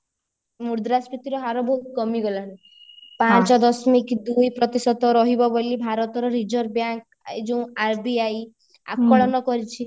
ମୁଦ୍ରାସ୍ପୀତିର ହାର ବହୁତ କମି ଗଲାଣି ପାଞ୍ଚ ଦଶମିକ ଦୁଇ ପ୍ରତିଶତ ରହିବ ବୋଲି ଭାରତର reserve bank ଏଇ ଯୋଉ RBI ଆକଳନ କରିଛି